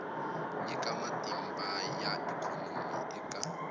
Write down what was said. nyika matimba ya ikhonomi eka